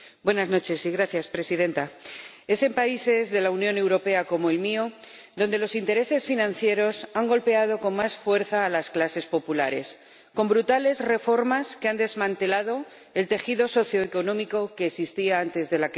Señora Presidenta, es en países de la Unión Europea como el mío donde los intereses financieros han golpeado con más fuerza a las clases populares con brutales reformas que han desmantelado el tejido socioeconómico que existía antes de la crisis.